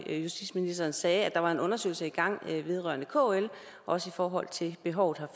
at justitsministeren sagde at der var en undersøgelse i gang vedrørende kl også i forhold til behovet